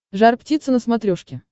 жар птица на смотрешке